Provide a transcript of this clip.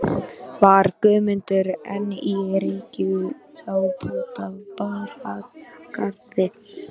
Var Guðmundur enn í rekkju þá bónda bar að garði.